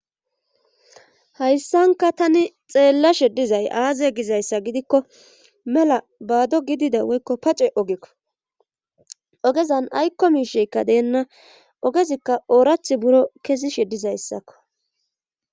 Hayssanka tani xeellashe dizay aaze gizayssa gidikko mela baado gidida woykko pace ogekko ogezan aykko misheykka deenna ogezikka oorath buro kesishe dizayssakko.